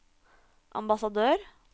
ambassadør